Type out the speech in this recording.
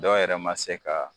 Dɔ yɛrɛ ma se ka